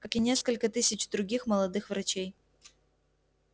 как и несколько тысяч других молодых врачей